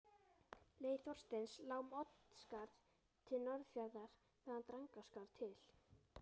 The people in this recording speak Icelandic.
Leið Þorsteins lá um Oddsskarð til Norðfjarðar, þaðan Drangaskarð til